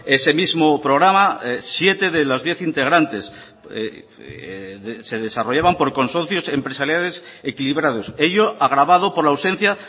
ese mismo programa siete de los diez integrantes se desarrollaban por consorcios empresariales equilibrados ello agravado por la ausencia